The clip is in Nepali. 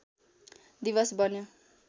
दिवस बन्यो